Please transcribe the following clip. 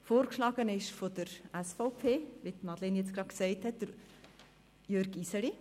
Vorgeschlagen ist von der SVP Jürg Iseli, wie Madleine Amstutz eben gesagt hat.